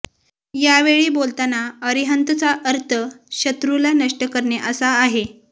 यावेळी बोलताना अरिहंतचा अर्थ शत्रूला नष्ट करणे असा आहे